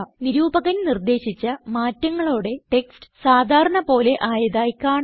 നിരൂപകൻ നിർദേശിച്ച മാറ്റങ്ങളോടെ ടെക്സ്റ്റ് സാധാരണ പോലെ ആയതായി കാണാം